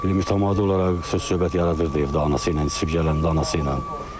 Mütəmadi olaraq söz-söhbət yaradırdı evdə anası ilə, içib gələndə anası ilə.